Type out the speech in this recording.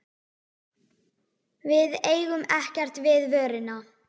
Við eigum ekkert við vöruna.